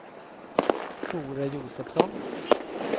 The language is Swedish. Tore Josefsson